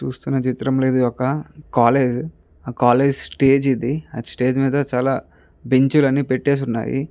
చూస్తున్న చిత్రం లో ఇది ఒక కాలేజీ . ఆ కాలేజీ స్టేజి ఇది. ఆ స్టేజ్ మీద చాలా బెంచ్ లు అనేవి పెట్టేసి ఉన్నాయి.